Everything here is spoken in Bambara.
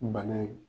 Bana ye